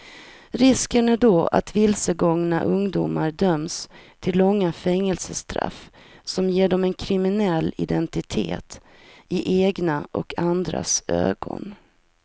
Risken är då att vilsegångna ungdomar döms till långa fängelsestraff som ger dem en kriminell identitet i egna och andras ögon.